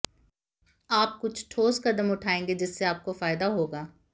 आप कुछ ठोस कदम उठाएंगे जिससे आपको फायदा होगा